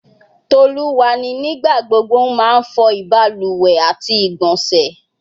Toluwani nigbagbogbo n ma fo ibaluwe ati igbonse